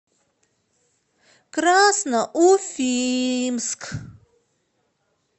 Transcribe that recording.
красноуфимск